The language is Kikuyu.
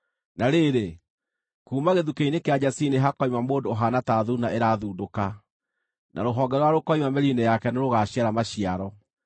Na rĩrĩ, kuuma gĩthukĩ-inĩ kĩa Jesii nĩhakoima mũndũ ũhaana ta thuuna ĩrathundũka, na Rũhonge rũrĩa rũkoima mĩri-inĩ yake nĩrũgaciara maciaro.